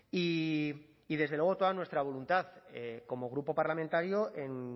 y desde luego toda nuestra voluntad como grupo parlamentario en